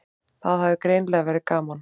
Það hafði greinilega verið gaman.